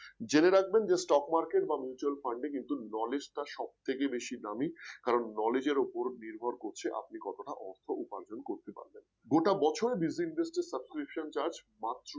জেনে রাখবেন যে stock market বা mutual fund এ কিন্তু Knowledge টা সবথেকে বেশি দামি কারণ Knowledge এর উপর নির্ভর করছে আপনি কতটা অর্থ উপার্জন করতে পারবেন গোটা বছরে Digit Invest এর subscription charges মাত্র